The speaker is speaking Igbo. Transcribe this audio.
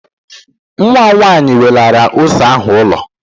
Nwa m nwaanyị welara ose ahụ ụlọ